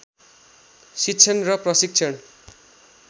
शिक्षण र प्रशिक्षण